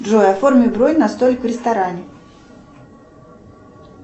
джой оформи бронь на столик в ресторане